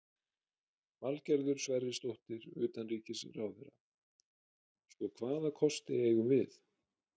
Valgerður Sverrisdóttir, utanríkisráðherra: Sko, hvaða kosti eigum við?